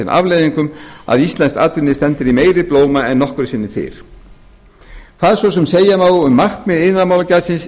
afleiðingum að íslenskt atvinnulíf stendur í meiri blóma en nokkru sinni fyrr hvað svo sem segja má um markmið iðnaðarmálagjaldsins